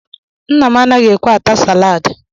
Nna m anaghị ekwe ata salad